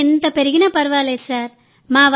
పని ఎంత పెరిగినా ఫర్వాలేదు సార్